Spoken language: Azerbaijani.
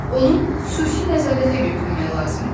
Onu xüsusi nəzarətə götürmək lazımdır.